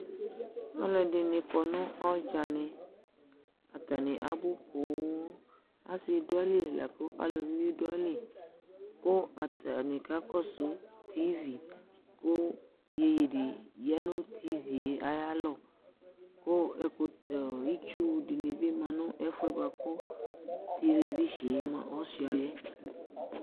alʊɛɗɩnɩ aƙɔnʊ ɔɗjanɩ atanɩ aɓʊ poo asɩ ɗʊ atamɩlɩ nʊ elʊʋɩnɩɓɩ atamɩlɩ atanɩ aƙasʊ ɛsʊƙpaƙoƴɛ, nʊ ɛsʊƙpaƙo ƴɛmʊa ƴoƴɩ ɗɩ ɗʊ aƴalɔ ƙʊ ɩtsʊɗɩnɩɓɩ ɔmanʊ ɛfʊƴɛ ɛsʊƙpaƙoƴɛ ɗʊ